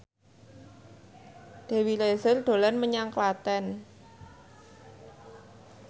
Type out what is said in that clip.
Dewi Rezer dolan menyang Klaten